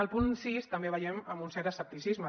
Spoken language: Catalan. el punt sis també el veiem amb un cert escepticisme